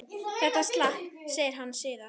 Þetta slapp, segir hann síðan.